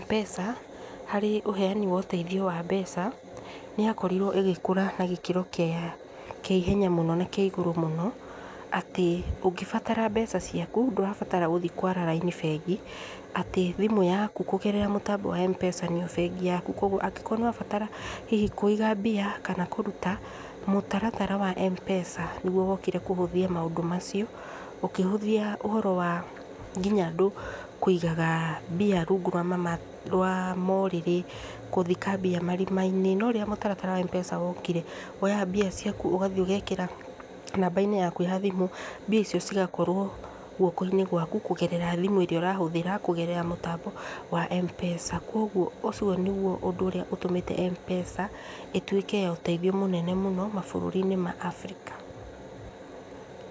Mpesa, harĩ ũheani wa ũtaithio wa mbeca, nĩyakorirwo ĩgĩkũra na gĩkĩro kĩa ihenya mũno na kĩa igũrũ mũno, atĩ ũngĩbatara mbeca ciaku, ndũrabatara gũthiĩ kwara raini bengi, atĩ thimũ yaku kũgerera mũtambo wa Mpesa nĩyo bengi yaku, koguo angĩkorwo nĩũrabatara hihi kũiga mbia, kana kũruta, mũtaratara wa mpesa nĩguo wokire kũhũthia maũndũ macio, ũkĩhũthia ũhoro wa nginya andũ kũigaga mbia rungu rwa maũrĩrĩ, gũthika mbia marima-inĩ, no rĩrĩa mũtaratara wa mpesa wokire, woyaga mbia ciaku, ũgathiĩ ũgekĩra namba-inĩ yaku yathimũ, mbia icio cigakorwo guoko-inĩ gwaku kũgerera thimũ ĩrĩa ũrahũthĩra, kũgerera mũtambo wa mpesa, koguo ũcio nĩguo ũndũ ũrĩa ũtũmĩte mpesa ĩtuĩke ya ũtaithio mũnene mũno mabũrũri-inĩ ma Africa.